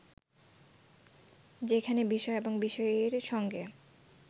যেখানে বিষয় এবং বিষয়ীর সঙ্গে